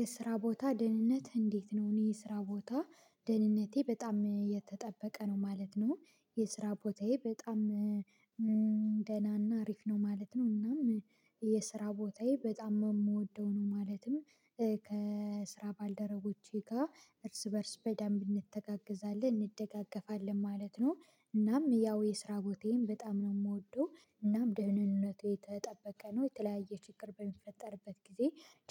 የስራ ቦታ ደህንነት እንዴት ነው? እኔ የስራ ቦታ ደህንነቴ በጣም የተጠበቀ ነው ማለት ነው። የስራ ቦታዬ በጣም ደህናና አሪፍ ነው ማለት ነው። እናም የስራ ቦታዬ በጣም የምወደው ነው ማለትም ከስራ ባልደረቦቼ ጋር እርስ በእርስ በደንብ እንተጋገዛለን እንደጋገፋለን ማለት ነው። እናም ያው የስራ ቦታዬን በጣም ነው የምወደው እናም ደህንነቱ የተጠበቀ ነው የተለያየ ችግር በሚፈጠርበት ጊዜ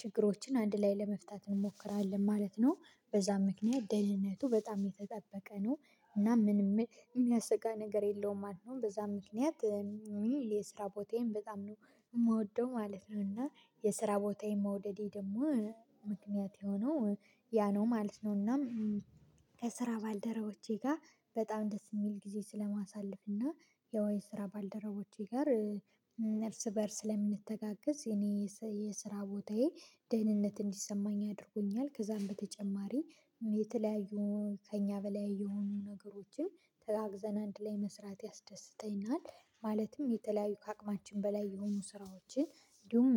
ችግሮችን አንድ ላይ ለመፍታት እንሞክራለን ማለት ነው። በዛ ምክንያት ደህንነቱ በጣም የተጠበቀ ነው እና ምንም የሚያሰጋ ነገር የለውም ማለት ነው። በዛ ምክንያት የስራ ቦታዬን በጣም ነው የምወደው ማለት ነው። እና የስራ ቦታዬን መውደዴ ደግሞ ምክንያት የሆነው ያ ነው ማለት ነው። እና ከስራ ባልደረቦቼ ጋር በጣም ደስ የሚል ጊዜ ስለማሳልፍ እና ያው የስራ ባልደረቦቼ ጋር እርስ በእርስ ስለምንተጋገዝ እኔ የስራ ቦታዬ ደህንነት እንዲሰማኝ አድርጎኛል። ከዛም በተጨማሪ የተለያዩ ከእኛ በላይ የሆኑ ነገሮችን ተጋግዘን አንድ ላይ መስራት ያስደስተኛል። ማለትም የተለያዩ ከአቅማችን በላይ የሆኑ ስራዎችን እንዲሁም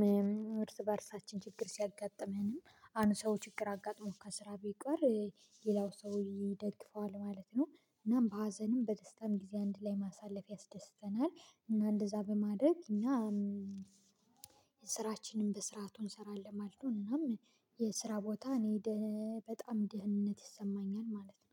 እርስ በእርሳችን ችግር ሲያጋጥመንም አንድ ሰው ችግር አጋጥሞ ከስራ ቢቀር ሌላው ሰው ይደግፈዋል ማለት ነው። እናም በሀዘንም በደስታም ጊዜ አንድ ላይ ማሳለፍ ያስደስተናል። እና እንደዛ በማድረግ እኛ ስራችንን በስርዓቱ እንሰራለን ማለት ነው። እናም የስራ ቦታ እኔ ደ በጣም ደህነት ይሰማኛል ማለት ነው